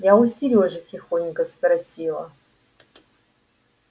я у серёжи тихонько спросила